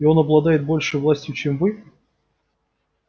и он обладает большей властью чем вы